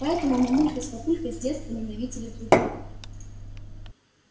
поэтому мамулька с папулькой с детства ненавидели друг друга